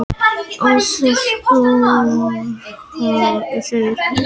Án þess þó að þeir hafi verið að skapa sér dauðafæri.